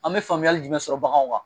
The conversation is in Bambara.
An bɛ faamuyali jumɛn sɔrɔ baganw kan